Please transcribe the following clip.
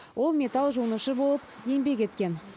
ол металл жонушы болып еңбек еткен